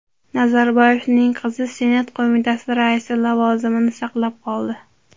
Nazarboyevning qizi Senat qo‘mitasi raisi lavozimini saqlab qoldi.